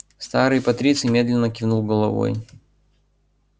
старый патриций медленно кивнул головой